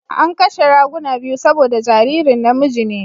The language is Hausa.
An kashe raguna biyu saboda jaririn namiji ne.